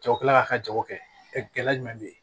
Cɛw kilala k'a ka jago kɛ ɛ gɛlɛya jumɛn bɛ ye